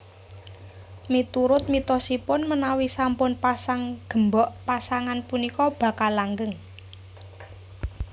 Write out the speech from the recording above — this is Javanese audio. Miturut mitosipun menawi sampun pasang gembok pasangan punika bakal langgeng